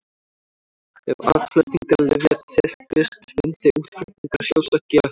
Ef aðflutningur lyfja teppist myndi útflutningur sjálfsagt gera það líka.